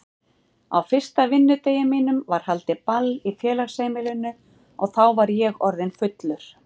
Á fyrsta vinnudegi mínum var haldið ball í félagsheimilinu og þá var ég orðinn fullur.